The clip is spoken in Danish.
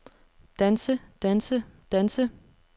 danse danse danse